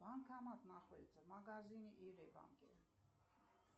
банкомат находится в магазине или банке